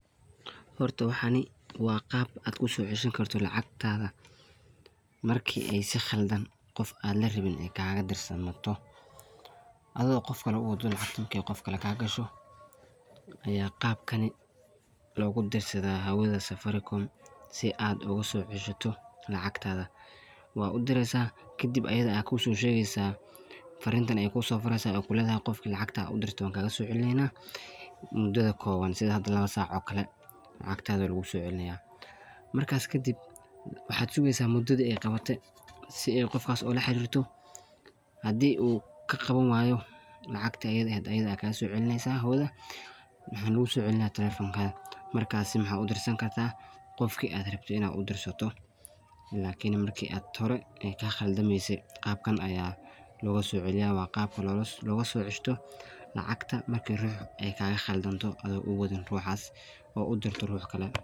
Horta waxan waa qaab aad kusoo ceshan karto ;acagrtaada marka qaab aan la rabin ay kaga dirsanto marka ay si khaldan qof aan la rabin ay kaga dirsanto adoo qof kale u waddo ay laakin qof kale kaa gasho ayaa qaabkani loogu dirsadaa hawada Safaricom si aad ogu ceshato lacagtaada waad u direysaa kadibayada ayaa kusoo shegeysaa ,farrintan ay kusoo qoreysaa ay ku leedahay qofka aad acagta u dirte waan kagasoo celineynaa sida hadda lawa saac oo kale lacagtada wey kusoo noqoneysaa markaas kadib waxaad sugeysaa muddada ay qawate si ay qofkaas ula xariirto . Haddii uu ka qawanwaayolacagti ayada aheyd ayada ka qawaneysaa hawada oo kusoo celineysaa talafankaada .